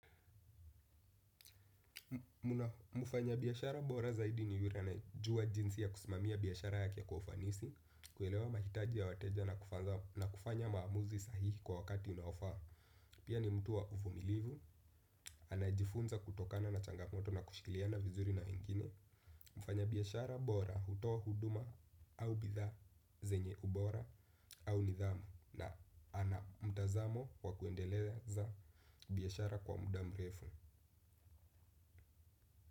Mfanya biashara bora zaidi ni yule anayejua jinsi ya kusimamia biashara yake kwa ufanisi, kuelewa mahitaji ya wateja na kufanya maamuzi sahihi kwa wakati unaofaa. Pia ni mtu wa uvumilivu. Anajifunza kutokana na changamoto na kushiliana vizuri na wengine. Mfanya biashara bora hutoa huduma au bidhaa zenye ubora au nidhamu na ana mtazamo wa kuendeleza biashara kwa muda mrefu.